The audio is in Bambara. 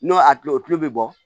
N'o a tulo o tulo bɛ bɔ